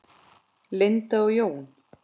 Linda og Jón.